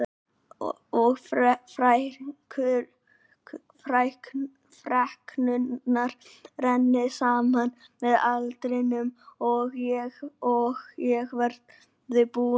Og freknurnar renni saman með aldrinum og ég verði brún einsog hann.